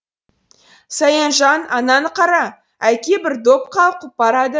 саянжан ананы қара әке бір доп қалқып барады